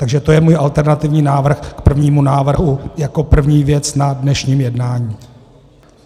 Takže to je můj alternativní návrh k prvnímu návrhu jako první věc na dnešním jednání.